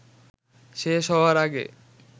শেষ হওয়ার আগে